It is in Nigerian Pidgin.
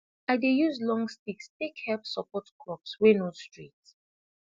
i dey use long sticks tak help support crops wey no straight